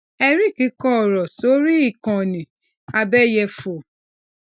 eric kọ ọrọ sórí ikanni abeyefo